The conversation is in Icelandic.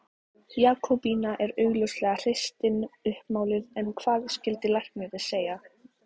Jakobína er augljóslega hreystin uppmáluð en hvað skyldi læknir segja?